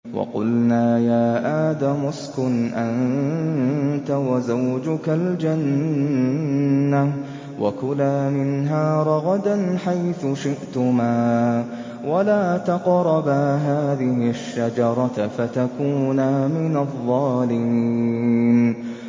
وَقُلْنَا يَا آدَمُ اسْكُنْ أَنتَ وَزَوْجُكَ الْجَنَّةَ وَكُلَا مِنْهَا رَغَدًا حَيْثُ شِئْتُمَا وَلَا تَقْرَبَا هَٰذِهِ الشَّجَرَةَ فَتَكُونَا مِنَ الظَّالِمِينَ